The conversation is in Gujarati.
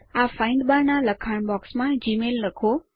આ ફાઇન્ડ બાર ના લખાણ બોક્સ માં જીમેઇલ લખો